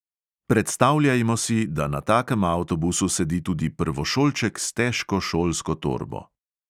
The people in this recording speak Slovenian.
Predstavljajmo si, da na takem avtobusu sedi tudi prvošolček s težko šolsko torbo.